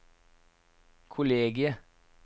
kollegiet